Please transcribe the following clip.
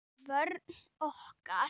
Vörn okkar